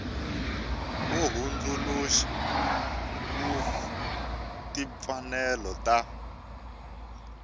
wo hundzuluxa wa timfanelo ta